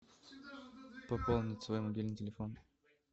пополнить свой мобильный телефон